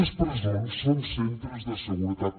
les presons són centres de seguretat